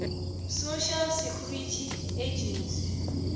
social security agency